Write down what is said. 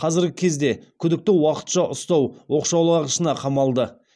қазіргі кезде күдікті уақытша ұстау оқшаулағышына қамалды